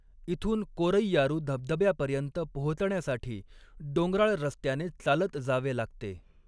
इथून कोरैयारू धबधब्यापर्यंत पोहोचण्यासाठी डोंगराळ रस्त्याने चालत जावे लागते.